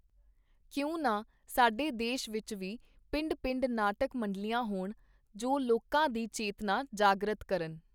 ਕਿਉਂ ਨਾ ਸਾਡੇ ਦੇਸ਼ ਵਿਚ ਵੀ ਪਿੰਡ-ਪਿੰਡ ਨਾਟਕ-ਮੰਡਲੀਆਂ ਹੋਣ, ਜੋ ਲੋਕਾਂ ਦੀ ਚੇਤਨਾ ਜਾਗਰਤ ਕਰਨ.